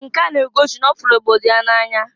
Nke a n'egosi n'ọfụlụ obodo ya na-anya.